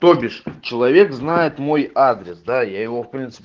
то бишь человек знает мой адрес да я его в принципе